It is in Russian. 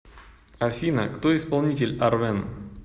афина кто исполнитель арвен